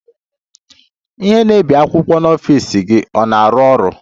Ihe na-ebi akwụkwọ n'ọfịs gị ọ na-arụ ọrụ?